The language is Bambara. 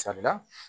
Sabula